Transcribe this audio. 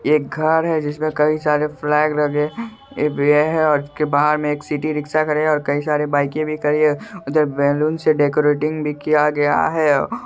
एक घर है जिसमें कई सारे फ्लैग लगे-- एक यह है उसके बाहर में एक सिटी रिक्शा खड़े हैं और कई सारे बाइके भी खड़ी है उधर बैलून्स से डेकोरेटीग भी किया गया है।